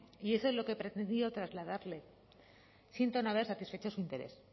y eso es lo que he pretendido trasladarle siento no haber satisfecho su interés